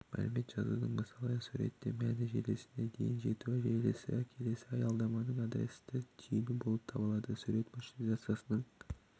мәлімет жазудың мысалы суретте мәні желісіне дейін жету келесі аялдаманың адресті түйін болып табылады сурет маршрутизацияның